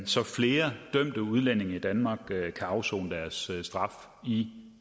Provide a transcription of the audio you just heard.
så flere dømte udlændinge i danmark kan afsone deres straf i